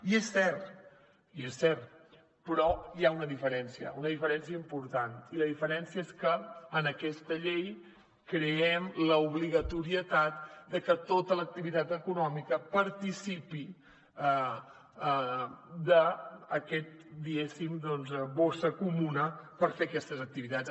i és cert i és cert però hi ha una diferència una diferència important i la diferència és que en aquesta llei creem l’obligatorietat de que tota l’activitat econòmica participi d’aquesta bossa comuna per fer aquestes activitats